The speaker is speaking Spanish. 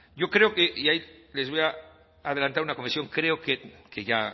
yo creo que y ahí les voy a adelantar una creo que ya